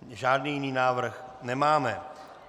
Žádný jiný návrh nemáme.